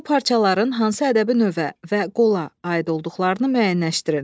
Bu parçaların hansı ədəbi növə və qola aid olduqlarını müəyyənləşdirin.